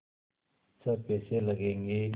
छः पैसे लगेंगे